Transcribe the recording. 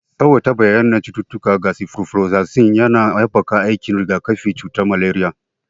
Tsawaita bayyanar cututtuka ga sifroflozasin yana haɓaka aikin rigakafin cutar maleriya.